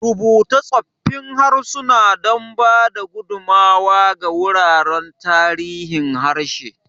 Rubuta tsoffin harsuna don ba da gudummawa ga wuraren tarihin harshe.